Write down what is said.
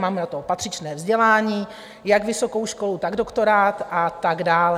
Mám na to patřičné vzdělání, jak vysokou školu, tak doktorát a tak dále.